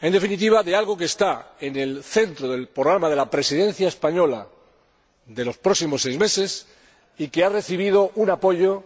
en definitiva, de algo que está en el centro del programa de la Presidencia española de los próximos seis meses y que ha recibido un apoyo